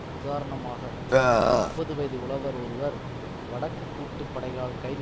உதாரணமாக முப்பது வயது உழவர் ஒருவர் வடக்கு கூட்டு படைகளால் கைது